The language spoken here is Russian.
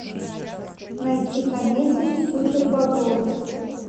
найти комедию супербобровы